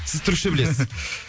сіз түрікше білесіз